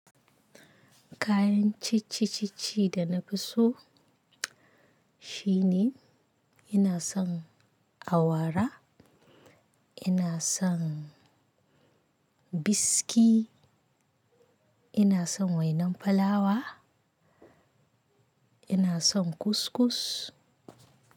Kayan ciccicicci da na fi so shine ina son awara, ina son biski, ina son wainan fulawa, ina son kuskus.